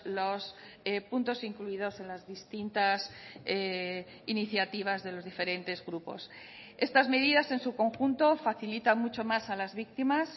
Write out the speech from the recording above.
los puntos incluidos en las distintas iniciativas de los diferentes grupos estas medidas en su conjunto facilitan mucho más a las víctimas